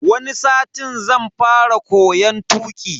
Wani satin zan fara koyon tuki.